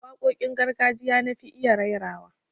Waƙoƙin gargajiya na fi iya rairawa